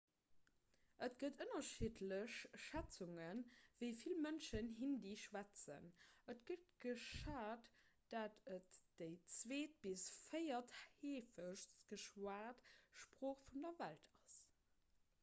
et gëtt ënnerschiddlech schätzungen wéi vill mënschen hindi schwätzen et gëtt geschat datt et déi zweet bis véiertheefegst geschwat sprooch vun der welt ass